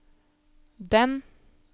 den